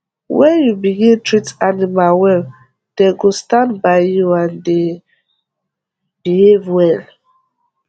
wen u begin treat animal well dey go stand by you and dey behave well